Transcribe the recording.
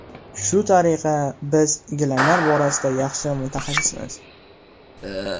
Shu tariqa, biz gilamlar borasida yaxshi mutaxassismiz.